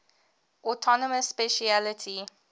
autonomous specialty